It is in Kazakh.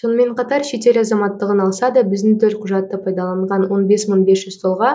сонымен қатар шетел азаматтығын алса да біздің төлқұжатты пайдаланған он бес мың бес жүз тұлға